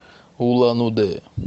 улан удэ